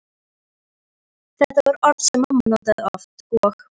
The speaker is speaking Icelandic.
Þetta var orð sem mamma notaði oft og